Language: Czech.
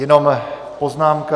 Jenom poznámka.